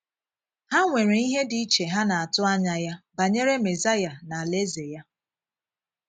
Ha nwerè ihe dị iche ha na - atù ànyà ya banyere Mesaya na Alaeze ya.